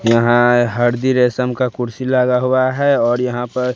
यहां हरदी रेशम का कुर्सी लगा हुआ है और यहां पर--